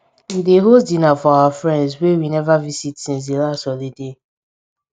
we dey host dinner for our friends wey we never visit since di last holiday